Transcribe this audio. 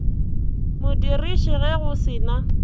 modiriši ge go se na